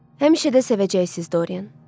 Həmişə də sevəcəksiniz Dorian.